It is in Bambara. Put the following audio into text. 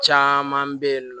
Caman bɛ yen nɔ